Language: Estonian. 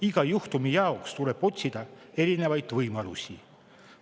Iga juhtumi jaoks tuleb otsida erinevaid võimalusi.